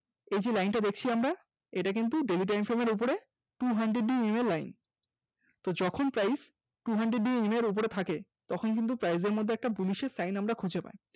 এই যে line টা দেখছি আমরা, এটা কিন্তু daily time frame এর উপরে two hundred ema line তো যখন price two hundred ema র ওপরে থাকে তখন কিন্তু price এর মধ্যে একটা bullish এর sign আমরা খুজে পাই